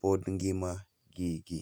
pod ngima gigi.